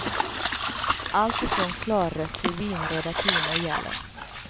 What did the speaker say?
Alltifrån klarrött till vinröda toner gäller.